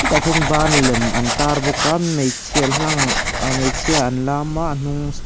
tahkhian ban lem an tar bawk a hmeichhe hlang hmeichhia an lam a a hnung stag--